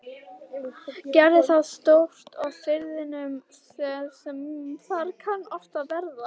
Gerði þá stórt á firðinum sem þar kann oft verða.